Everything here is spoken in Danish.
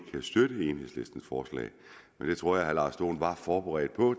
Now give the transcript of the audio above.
kan støtte enhedslistens forslag det tror jeg herre lars dohn var forberedt på